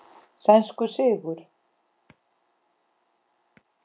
Sænskur sigur.